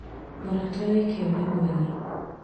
Mũrata wĩ kĩo nĩ mwega